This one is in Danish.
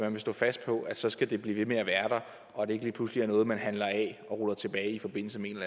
vil stå fast på at så skal det blive ved med at være der og at det ikke lige pludselig er noget man ruller tilbage i forbindelse med en